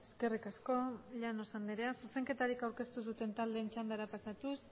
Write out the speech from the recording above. eskerrik asko llanos andrea zuzenketarik aurkeztu duten taldeen txandara pasatuz